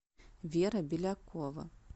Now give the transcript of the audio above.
вера белякова